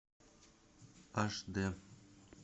аш д